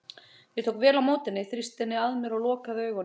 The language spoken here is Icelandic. Ég tók vel á móti henni, þrýsti henni að mér og lokaði augunum.